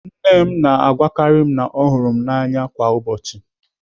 Nne m na-agwakarị m na ọ hụrụ m n'anya kwa ụbọchị.